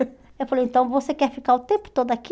Eu falei, então você quer ficar o tempo todo aqui?